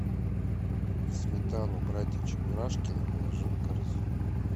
сметану братья чебурашкины положи в корзину